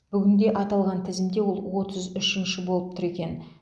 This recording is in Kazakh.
бүгінде аталған тізімде ол отыз үшінші болып тұр екен